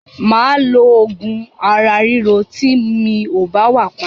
Mà á lo oògùn ara ríro tí mi ò bá wà pa.